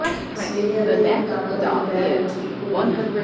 ਸਵੇਰੇ ਅੱਧੇ ਇੱਕ ਕੱਪ ਅਤੇ ਦੁਪਹਿਰ ਵਿੱਚ ਇੱਕੋ ਹੀ